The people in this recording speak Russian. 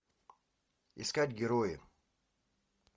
искать герои